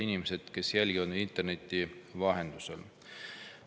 Head inimesed, kes jälgivad interneti vahendusel!